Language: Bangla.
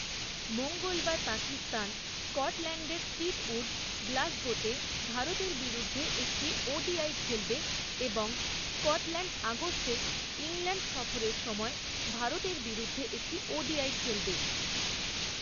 মঙ্গলবার পাকিস্তান স্কটল্যান্ডের টিটউড, গ্লাসগোতে, ভারতের বিরুদ্ধে একটি ওডিআই খেলবে, এবং স্কটল্যান্ড আগস্টে ইংল্যান্ড সফরের সময় ভারতের বিরুদ্ধে একটি ওডিআই খেলবে।